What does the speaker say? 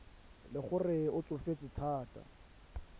le gore o tsofetse thata